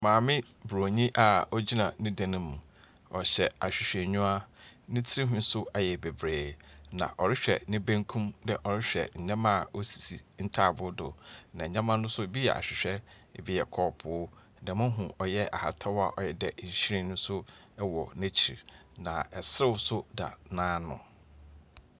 Maame bronyii a ɔgyina ne dan mu. Ɔhyɛ ahwehwɛ niwa. Ne trinwii nso ɛyɛ bebree na ɔrehwɛ ne benkum dɛɛ ɔrehwɛ nneɛma a ɔsisi ntaaboo do. Nneɛma no nso ɛbi yɛ ahwehwɛ, ɛbi yɛ kɔɔpoo. Dɛ me hu ɔyɛ ahataaw a ɔyɛ dɛɛ nhwiren nso ɛwɔ naakyi na ɛsew so da naano.